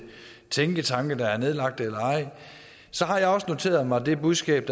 tænketanke har jeg også noteret mig det budskab